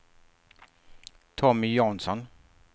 Tommy Jansson